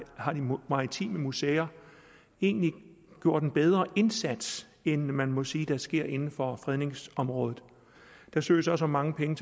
maritime museer egentlig gjort en bedre indsats end man må sige der er sket inden for fredningsområdet der søges også om mange penge